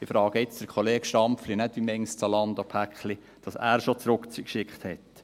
Ich frage jetzt den Kollegen Stampfli nicht, wie viele Zalando-Pakete er schon zurückgeschickt hat.